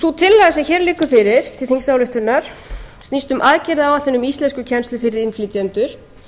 sú tillaga sem hér liggur fyrir til þingsályktunar snýst um aðgerðaáætlun um íslenskukennslu fyrir innflytjendur